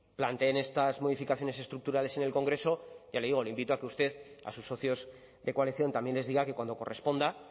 planteen estas modificaciones estructurales en el congreso ya le digo le invito a que usted a sus socios de coalición también les diga que cuando corresponda